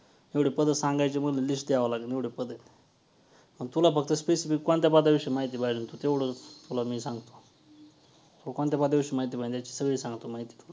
एवढी पदं सांगायची म्हंटल तर list द्यावी लागल एवढी पदं आहेत. आणि तुला फक्त specific कोणत्या पदाविषयी माहिती पाहिजे होती तेवढं तुला मी सांगतो. तू कोणत्या पदाविषयी माहिती पाहिजे सगळी सांगतो माहिती.